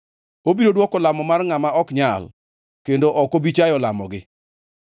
Obiro dwoko lamo mar ngʼama ok nyal kendo ok obi chayo lamogi.